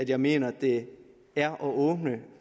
jeg mener det er at åbne